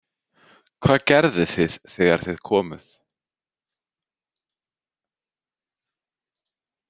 Hvað gerðuð þið þegar þið komuð?